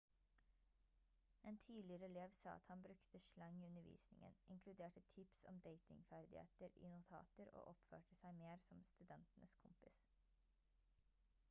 en tidligere elev sa at han «brukte slang i undervisningen inkluderte tips om datingferdigheter i notater og oppførte seg mer som studentenes kompis»